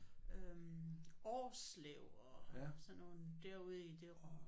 Øh Årslev og sådan nogle derude i det